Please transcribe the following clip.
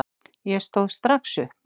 Ég stóð strax upp.